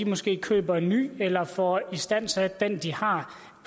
måske køber en ny eller får istandsat den de har